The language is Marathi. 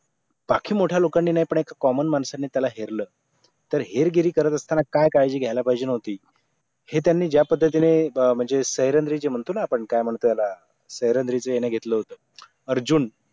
बाकी मोठ्या लोकांनी नाही पण एक common माणसाने त्याला हेरलं तर हेरगिरी करत असताना काय काळजी घ्यायला पाहिजे नव्हती हे त्यांनी ज्या पद्धतीने म्हणजे जे म्हणतो ना आपण काय म्हणतो त्याला घेतलं होत अर्जुन